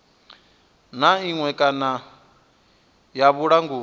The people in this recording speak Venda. na iṅwe kana ya vhulanguli